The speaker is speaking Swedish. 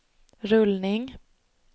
rullning